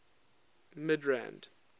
midrand